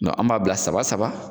Nka an b'a bila saba saba.